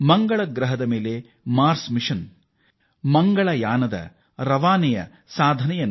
ಮಂಗಳಯಾನದ ಯಶಸ್ಸಿನ ಬಳಿಕ ಇತ್ತೀಚೆಗೆ ಇಸ್ರೋ ಬಾಹ್ಯಾಕಾಶದಲ್ಲಿ ಹೊಸ ದಾಖಲೆ ಬರೆದಿದೆ